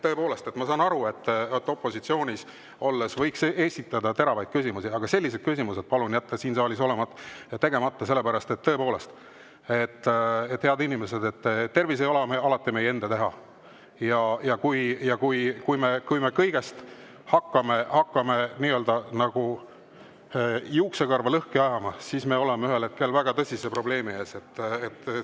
Tõepoolest, ma saan aru, et opositsioonis olles võib esitada teravaid küsimusi, aga sellised küsimused palun jätta siin saalis, sellepärast et, head inimesed, tervis ei ole alati meie enda teha, ja kui me hakkame kõiges juuksekarva lõhki ajama, siis me oleme ühel hetkel väga tõsise probleemi ees.